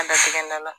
An dasi gɛnna la